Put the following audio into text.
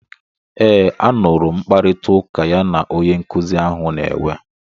Eeee, a nụrụ m mkparịtaụka ya na onye nkuzi ahụ na-enwe.